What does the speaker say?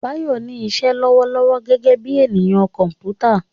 Bayo ní iṣẹ́ lọ́wọ́lọ́wọ́ gẹ́gẹ́ bí ènìyàn kọ̀m̀pútà.